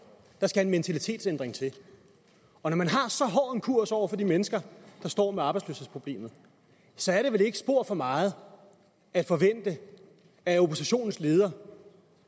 der skal en mentalitetsændring til og når man har så hård en kurs over for de mennesker der står med arbejdsløshedsproblemet så er det vel ikke spor for meget at forvente at oppositionens leder